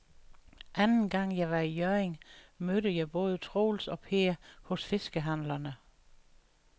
Anden gang jeg var i Hjørring, mødte jeg både Troels og Per hos fiskehandlerne.